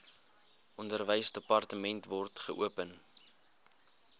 onderwysdepartement wkod geopen